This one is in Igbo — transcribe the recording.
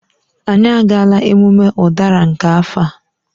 Anyị agaala emume ụdara nke afọ a